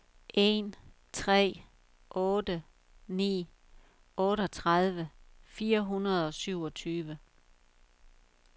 en tre otte ni otteogtredive fire hundrede og syvogtyve